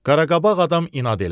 Qaraqabaq adam inad elədi.